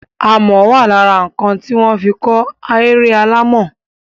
Amọ̀ wà lára nǹkan tí wọ́n fi kọ́ ahéré alàmọ̀.